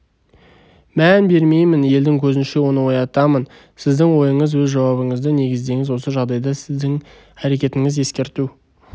мән бермеймін елдің көзінше оны оятамын сіздің ойыңыз өз жауабыңызды негіздеңіз осы жағдайда сіздің әрекетіңіз ескерту